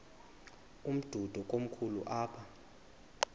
umdudo komkhulu apha